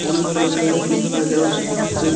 অনেক প্রকারের জুস পায়যা আর ফ্রীজ টু এ --